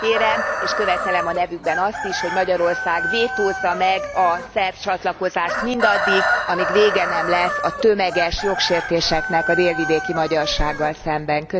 Kérem és követelem a nevükben azt is, hogy Magyarország vétózza meg a szerb csatlakozást mindaddig, amíg vége nem lesz a tömeges jogsértéseknek a délvidéki magyarsággal szemben.